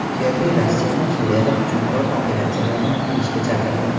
Kerri Rossiyani Suriyada hujumkor operatsiyalardan tiyilishga chaqirdi.